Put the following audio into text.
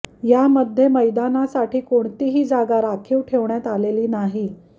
यामध्ये मैदानासाठी कोणतीही जागा राखीव ठेवण्यात आलेली नाहीत